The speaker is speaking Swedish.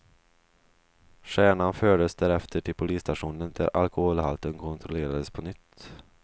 Stjärnan fördes därefter till polisstationen, där alkoholhalten kontrollerades på nytt.